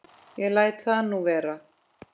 Ég læt það nú vera.